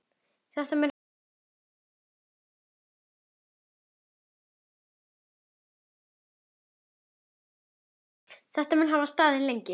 Þetta mun hafa staðið lengi.